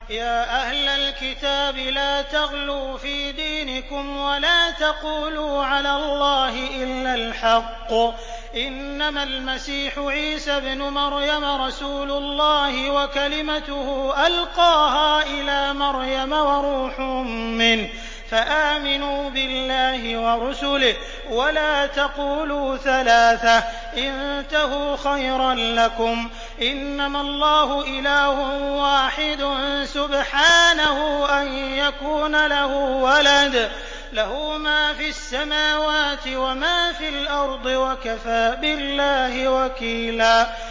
يَا أَهْلَ الْكِتَابِ لَا تَغْلُوا فِي دِينِكُمْ وَلَا تَقُولُوا عَلَى اللَّهِ إِلَّا الْحَقَّ ۚ إِنَّمَا الْمَسِيحُ عِيسَى ابْنُ مَرْيَمَ رَسُولُ اللَّهِ وَكَلِمَتُهُ أَلْقَاهَا إِلَىٰ مَرْيَمَ وَرُوحٌ مِّنْهُ ۖ فَآمِنُوا بِاللَّهِ وَرُسُلِهِ ۖ وَلَا تَقُولُوا ثَلَاثَةٌ ۚ انتَهُوا خَيْرًا لَّكُمْ ۚ إِنَّمَا اللَّهُ إِلَٰهٌ وَاحِدٌ ۖ سُبْحَانَهُ أَن يَكُونَ لَهُ وَلَدٌ ۘ لَّهُ مَا فِي السَّمَاوَاتِ وَمَا فِي الْأَرْضِ ۗ وَكَفَىٰ بِاللَّهِ وَكِيلًا